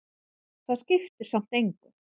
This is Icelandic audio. Það skiptir samt engu,